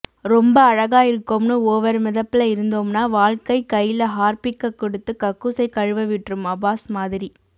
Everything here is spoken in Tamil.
ரொம்ப அழகா இருக்கோம்னு ஓவர் மிதப்புல இருந்தோம்னா வாழ்க்கை கைல ஹார்பிக்க குடுத்து கக்கூசை கழுவ விட்ரும் அப்பாஸ் மாதிரி